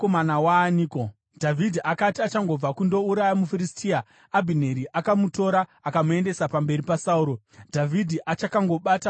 Dhavhidhi akati achangobva kundouraya muFiristia, Abhineri akamutora akamuendesa pamberi paSauro, Dhavhidhi achakangobata musoro womuFiristia.